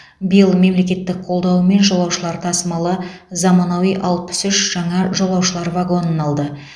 биыл мемлекеттің қолдауымен жолаушылар тасымалы заманауи алпыс үш жаңа жолаушылар вагонын алды